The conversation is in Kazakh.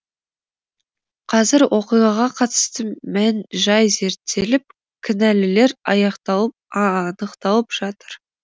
қазір оқиғаға қатысты мән жай зерттеліп кінәлілер анықталып жатыр